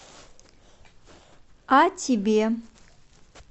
а тебе